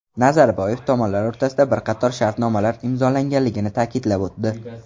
Nazarboyev tomonlar o‘rtasida bir qator shartnomalar imzolanganligini ta’kidlab o‘tdi.